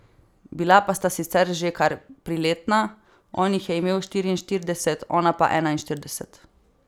Bila pa sta sicer že kar priletna, on jih je imel štiriinštirideset, ona pa enainštirideset.